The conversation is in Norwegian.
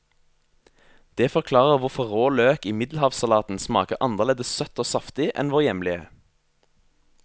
Det forklarer hvorfor rå løk i middelhavssalaten smaker annerledes søtt og saftig enn vår hjemlige.